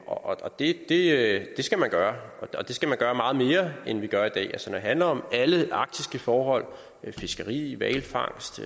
og det det skal man gøre det skal man gøre meget mere end man gør i dag altså når det handler om alle faktiske forhold som fiskeri hvalfangst